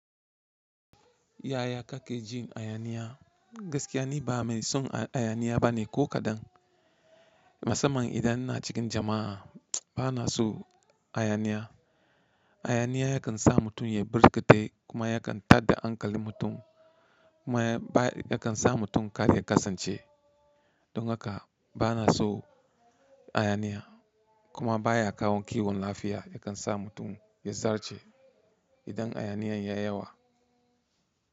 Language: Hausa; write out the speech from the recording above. Yaya kake jin hayaniya? Gaskiya ne ba mai son hayaniya bane ko kaɗan. Musamman idan na cikin jama'a bana so hayaniya. Hayaniya yakan sa mutum ya birke tai kuma yakan tadde hankalin mutum kuma yakan sa mutum karya kasance. Don haka bana so hayaniya kuma baya kawo kiwon lafiya yakan sa mutum ya zarce idan hayaniyan ya yawa.